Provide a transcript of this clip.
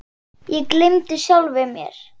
Ég gleymdi sjálfum mér.